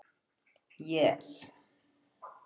Jes